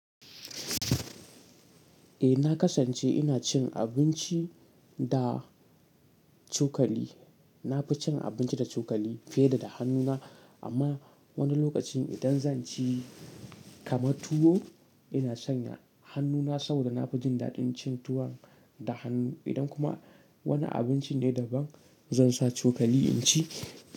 Eh, na kasance ina cin abinci da cokali. Na fi cin abinci da cokali fiye da da hannuna, amma wani lokacin idan zan ci kaman tuwo, ina sanya hannuna saboda na fi jin daɗin cin tuwon da hannu. Idan kuma wani abinci ne daban, zan sa cokali in ci.